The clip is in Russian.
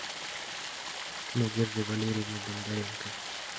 надеждой валерьевной бондаренко